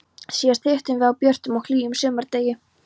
Síðast hittumst við á björtum og hlýjum sumardegi.